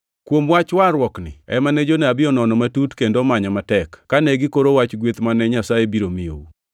Kuom wach warruokni ema ne jonabi onono matut kendo omanyo matek, kane gikoro wach gweth mane Nyasaye biro miyou.